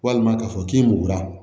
Walima k'a fɔ k'i mugura